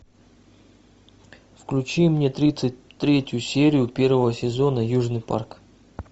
включи мне тридцать третью серию первого сезона южный парк